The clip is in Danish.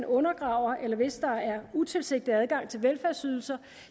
undergraves eller hvis der er utilsigtet adgang til velfærdsydelser